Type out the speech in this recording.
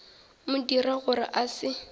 mo dira gore a se